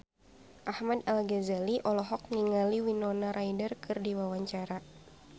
Ahmad Al-Ghazali olohok ningali Winona Ryder keur diwawancara